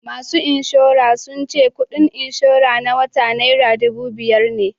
Masu inshora sun ce kudin inshora na wata naira dubu biyar ne